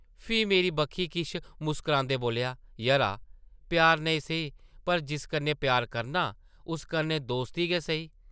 फ्ही मेरी बक्खी किश मुस्करांदे बोल्लेआ, ‘‘यरा! प्यार नेईं सेही, पर जिस कन्नै प्यार करनां, उस कन्नै दोस्ती गै सेही ।’’